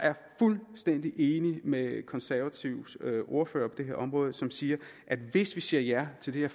fuldstændig enig med konservatives ordfører på det her område som siger at hvis vi siger ja til det